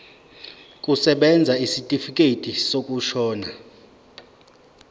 kusebenza isitifikedi sokushona